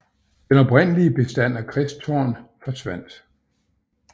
Den oprindelige bestand af kristtorn forsvandt